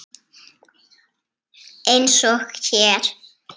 Eins og hér.